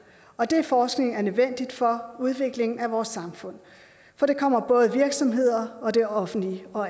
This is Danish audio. og den forskning er nødvendig for udviklingen af vores samfund for det kommer både virksomheder og det offentlige og